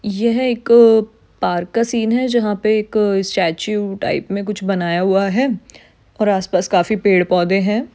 यह एक पार्क का सीन है जहा पे एक स्टैच्यू टाइप मे कुछ बनाया हुआ है और आसपास काफी पेड़ पौधे है।